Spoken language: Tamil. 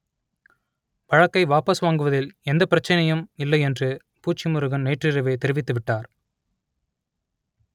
வழக்கை வாபஸ் வாங்குவதில் எந்தப் பிரச்சனையும் இல்லை என்று பூச்சி முருகன் நேற்றிரவே தெரிவித்துவிட்டார்